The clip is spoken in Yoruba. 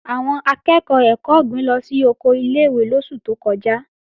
Àwọn akẹ́ẹ̀kọ́ ẹ̀kọ́ ọ̀gbìn lọ sí oko ilé-ìwé lóṣù tó kọjá